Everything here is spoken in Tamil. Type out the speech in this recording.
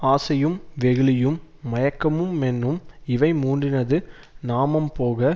ஆசையும் வெகுளியும் மயக்கமு மென்னும் இவை மூன்றினது நாமம்போக